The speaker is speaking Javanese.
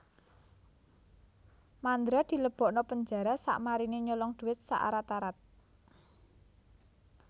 Mandra dilebokno penjara sakmarine nyolong duit sak arat arat